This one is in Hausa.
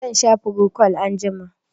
Zan sha frocwal anjima.